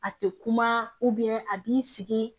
A tɛ kuma a b'i sigi